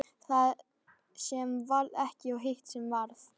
Það sem varð ekki og hitt sem varð